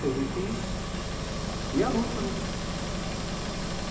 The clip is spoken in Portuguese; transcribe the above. Teve que ir à luta, né.